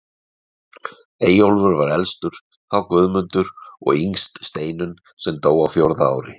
Eyjólfur var elstur, þá Guðmundur og yngst Steinunn sem dó á fjórða ári.